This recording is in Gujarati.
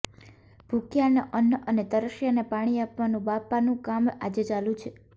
ભુખ્યાને અન્ન અને તરસ્યાને પાણી આપવાનું બાપાનું કામ આજે ચાલે છે